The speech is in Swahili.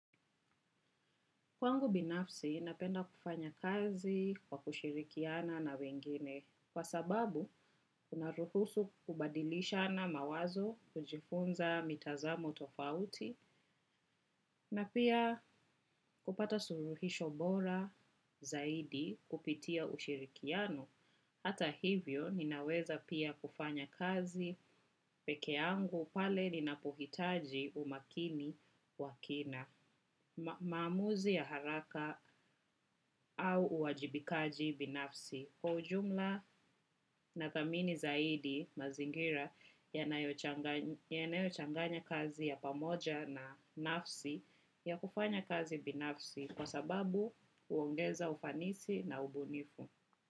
Kwangu binafsi, napenda kufanya kazi, kwa kushirikiana na wengine. Kwa sababu, unaruhusu kubadilishana mawazo, kujifunza mitazamo tofauti, na pia, kupata suruhisho bora, zaidi kupitia ushirikiano. Hata hivyo, ninaweza pia kufanya kazi peke yangu pale ninapohitaji umakini, wakina. Maamuzi ya haraka au uwajibikaji binafsi. Kwa ujumla, na thamini zaidi, mazingira yanayochanganya kazi ya pamoja na nafsi ya kufanya kazi binafsi kwa sababu uongeza ufanisi na ubunifu.